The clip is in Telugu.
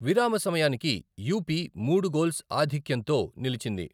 విరామ సమయానికి యూపీ మూడు గోల్స్ ఆధిక్యంతో నిలిచింది.